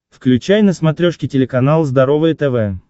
включай на смотрешке телеканал здоровое тв